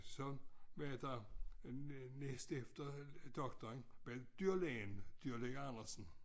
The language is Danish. Så var der øh næst efter doktoren øh doktoren ved dyrelægen dyrelæge Andersen